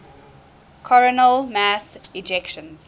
coronal mass ejections